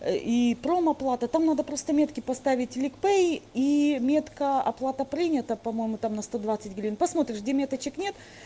и промоплата там надо просто метки поставить ликпэй и метка оплата принята по-моему там на сто двадцать гривен посмотришь где меточек нет